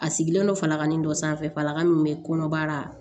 A sigilen don falaka nin dɔ sanfɛlaka min bɛ kɔnɔbara la